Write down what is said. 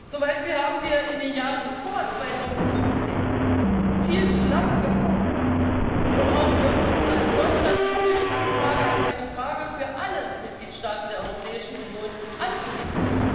Zum Beispiel haben wir in den Jahren vor 2015 viel zu lange gebraucht, um auch für uns als Deutschland die Flüchtlingsfrage als eine Frage für alle Mitgliedstaaten der Europäischen Union anzunehmen